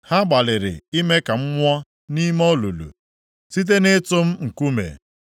Ha gbalịrị ime ka m nwụọ nʼime olulu site nʼịtụ m nkume.